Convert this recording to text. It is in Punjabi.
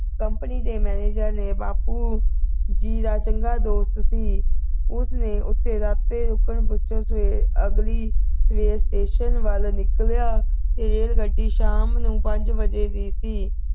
company ਦੇ manager ਨੇ ਬਾਪੂ ਜੀ ਦਾ ਚੰਗਾ ਦੋਸਤ ਸੀ ਉਸ ਨੇ ਉਸੀ ਵਕਤ ਰੁਕਣ ਪਿੱਛੋਂ ਸਵੇਰ ਅਗਲੀ station ਵੱਲ ਨਿਕਲਿਆ ਰੇਲ ਗੱਡੀ ਸ਼ਾਮ ਨੂੰ ਪੰਜ ਵਜੇ ਦੀ ਸੀ